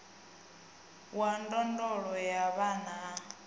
wa ndondolo ya vhana a